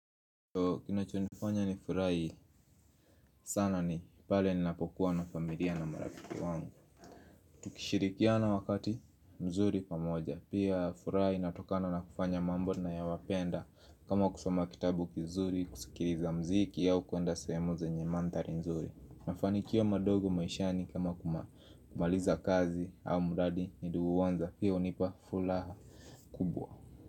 Kinachonifanya nifurahi sana ni pale ninapokuwa na familia na marafiki wangu Tukishirikiana wakati mzuri pamoja pia furaha inatokana na kufanya mambo ninayoyapenda kama kusoma kitabu kizuri kusikiliza mziki au kuenda sehemu zenye manthari mzuri mafanikio madogo maishani kama kumaliza kazi au mradi niliouanza pia hunipa furaha kubwa.